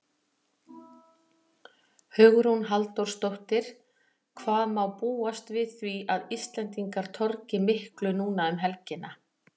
Hugrún Halldórsdóttir: Hvað má búast við því að Íslendingar torgi miklu núna um helgina?